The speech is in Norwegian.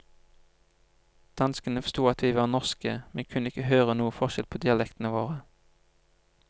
Danskene forsto at vi var norske, men kunne ikke høre noen forskjell på dialektene våre.